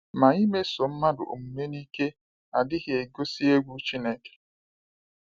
Ma imeso mmadụ omume n’ike adịghị egosi egwu Chineke.